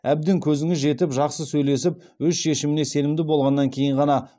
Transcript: әбден көзіңіз жетіп жақсы сөйлесіп өз шешіміне сенімді болғаннан кейін ғана